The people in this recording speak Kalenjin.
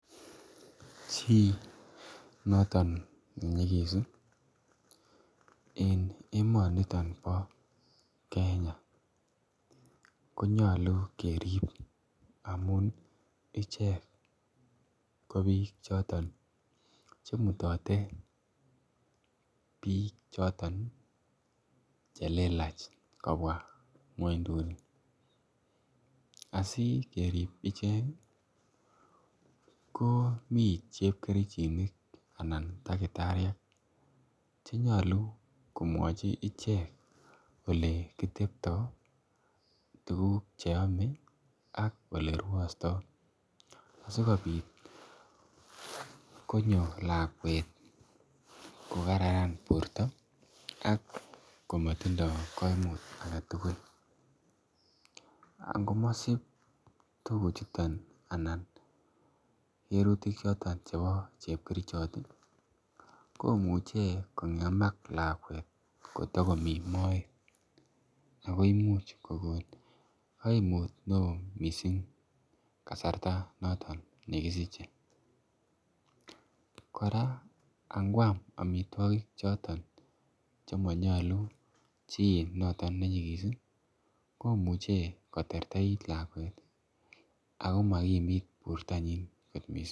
Chinoton nenyigis en emoniton bo Kenya konyalu kerib amun ih , icheket ko bik choton , chemutate, bik choton chelelach kobwa ng'uanytuni askerib icheket ih ko mi chepkerichinik Anan takitariek, chenyalu komwachi ichek ele kitebto tuguk che , cheame ak oleeuata. Asikobit konyo lakuet kokaranan borta ak , komatindo kaimutiet agetugul, angomasib tuguk chuton anan, cherutik choton chebo chebkerichot ih , komuche kong'emak lakuet kotogomy maoet agoimuch kokon kaimut neo missing kasarta noton nekisiche kora angoam amituakik choton, chemanyalu chi noton ne nyikis komuch koterterit lakuet ih, Ako makimit bortanyin missing.